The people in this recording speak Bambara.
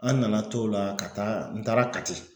An nana to la ka taa n taara kati